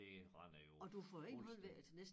Det render jo fuldstændig